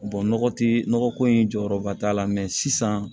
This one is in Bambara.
nɔgɔ tɛ nɔgɔ ko in jɔyɔrɔba t'a la sisan